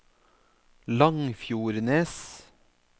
Langfjordnes